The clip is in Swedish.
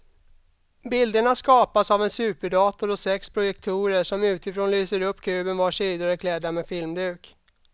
Bilderna skapas av en superdator och sex projektorer som utifrån lyser upp kuben vars sidor är klädda med filmduk.